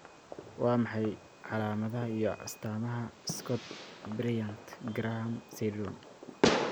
Waa maxay calaamadaha iyo astaamaha Scott Bryant Graham syndrome?